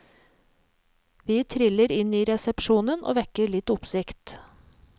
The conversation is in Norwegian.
Vi triller inn i resepsjonen, og vekker litt oppsikt.